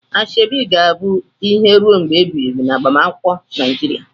Asoebi ga-abụ ihe ruo mgbe ebighị ebi na agbamakwụkwọ Nigeria.